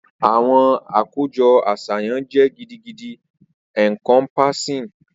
Awọn akojọ aṣayan jẹ gidigidi encompassing.